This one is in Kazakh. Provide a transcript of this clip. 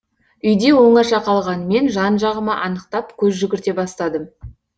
үйде оңаша қалған мен жан жағыма анықтап көз жүгірте бастадым